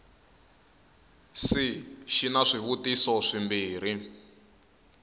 c xi na swivutiso swimbirhi